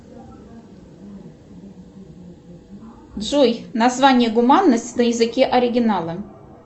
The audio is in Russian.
джой название гуманность на языке оригинала